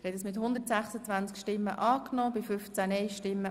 Der Grosse Rat hat den Antrag Regierungsrat und SiK angenommen.